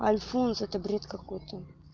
альфонс это бред какой-то